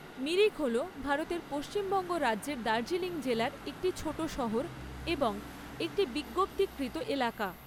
মিরিক হল ভারতের পশ্চিমবঙ্গ রাজ্যের দার্জিলিং জেলার একটি ছোট শহর এবং একটি বিজ্ঞপ্তিকৃত এলাকা।